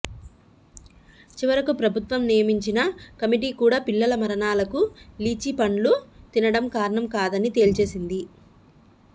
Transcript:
చివరకు ప్రభుత్వం నియమించిన కమిటీ కూడా పిల్లల మరణాలకు లిచీ పండ్లు తినడం కారణం కాదని తేల్చేసింది